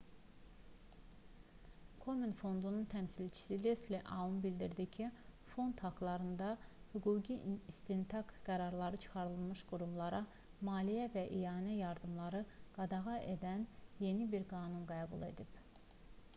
komen fondunun təmsilçisi lesli aun bildirdi ki fond haqlarında hüquqi istintaq qərarı çıxarılmış qurumlara maliyyə və ianə yardımlarını qadağan edən yeni bir qanun qəbul edib